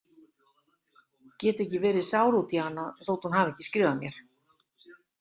Get ekki verið sár út í hana þótt hún hafi ekki skrifað mér.